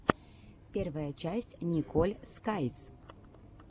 первая часть николь скайз